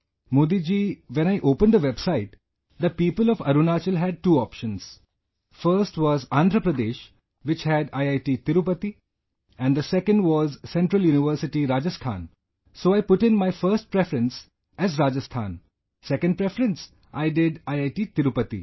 Modi ji, When I opened the website, the people of Arunachal had two options... First was Andhra Pradesh which had IIT Tirupati and the second was Central University, Rajasthan so I put in my First preference as Rajasthan, Second Preference I did IIT Tirupati